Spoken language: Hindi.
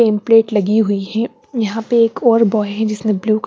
पैंपलेट लगी हुई हैं यहां पे एक और बॉय है जिसने ब्लू कल--